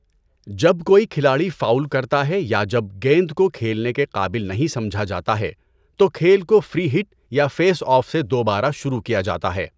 جب کوئی کھلاڑی فاؤل کرتا ہے یا جب گیند کو کھیلنے کے قابل نہیں سمجھا جاتا ہے، تو کھیل کو فری ہٹ یا فیس آف سے دوبارہ شروع کیا جاتا ہے۔